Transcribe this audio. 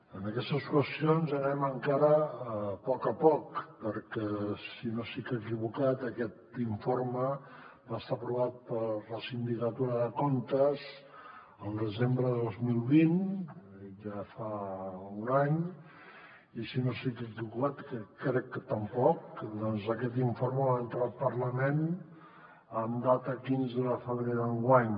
en aquestes qüestions anem encara a poc a poc perquè si no estic equivocat aquest informe va estar aprovat per la sindicatura de comptes al desembre de dos mil vint ja fa un any i si no estic equivocat que crec que tampoc doncs aquest informe va entrar al parlament en data quinze de febrer d’enguany